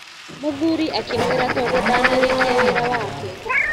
Mũthuri akĩmwĩra tondũ ndana rĩkia wĩra wake.